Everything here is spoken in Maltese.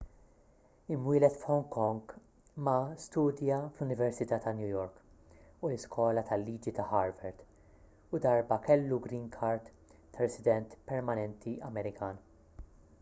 imwieled f'hong kong ma studja fl-università ta' new york u l-iskola tal-liġi ta' harvard u darba kellu green card ta' resident permanenti amerikan